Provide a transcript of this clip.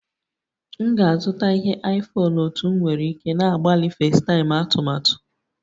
M ga-azụta ihe iPhone otú m nwere ike na-agbalị FaceTime atụmatụ